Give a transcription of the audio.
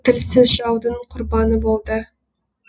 тілсіз жаудың құрбаны болды